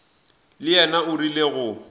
le yena o rile go